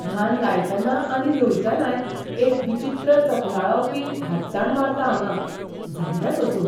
धान लायतना आनी लुयतनाय एक विचित्र चकनळावपी भातसाण मारता हांगां. जायना सोंसूंक.